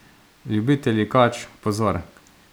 Ljubitelji kač, pozor!